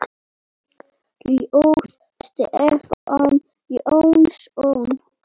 Ljóð: Stefán Jónsson